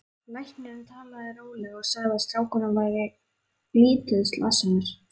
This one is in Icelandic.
Læknirinn talaði rólega og sagði að strákurinn væri lítið slasaður.